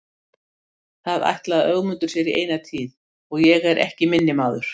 Það ætlaði Ögmundur sér í eina tíð og ég er ekki minni maður.